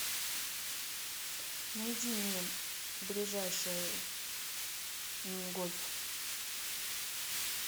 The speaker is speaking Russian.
найди мне ближайший мини гольф